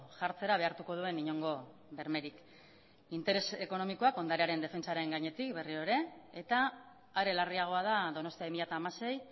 jartzera behartuko duen inongo bermerik interes ekonomikoak ondarearen defentsaren gainetik berriro ere eta are larriagoa da donostia bi mila hamasei